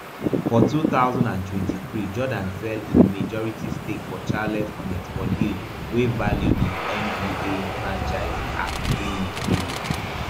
for two thousand and twenty-three jordan sell im majority stake for charlotte hornets for deal wey value di nba franchise at three billion